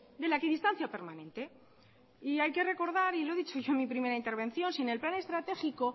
de la equidistancia permanente y hayque recordar y lo he dicho yo en mi primera intervención sin el plan estratégico